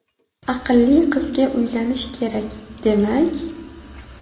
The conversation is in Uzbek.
Aqlli qizga uylanish kerak, demak..